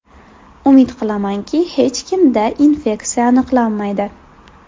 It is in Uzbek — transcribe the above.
Umid qilamanki, hech kimda infeksiya aniqlanmaydi.